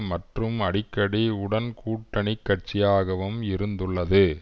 மற்றும் அடிக்கடி உடன் கூட்டணி கட்சியாகவும் இருந்துள்ளது